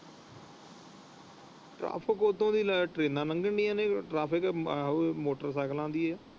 ਉੱਧਰ ਕਿਹੜਾ ਟ੍ਰੇਨਾਂ ਲੰਘਣ ਡਾਇ ਨੇ ਮੋਟਰ ਸਾਈਕਲ ਦੀ ਹੈ।